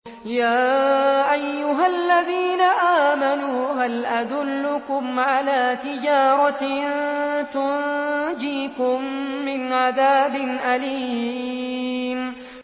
يَا أَيُّهَا الَّذِينَ آمَنُوا هَلْ أَدُلُّكُمْ عَلَىٰ تِجَارَةٍ تُنجِيكُم مِّنْ عَذَابٍ أَلِيمٍ